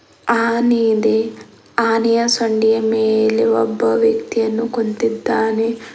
ಆನೆ ಇದೆ ಆನೆಯ ಸಂಡಿಯ ಮೇಲೆ ಒಬ್ಬ ವ್ಯಕ್ತಿಯನ್ನು ಕೊಂತಿದ್ದಾನೆ.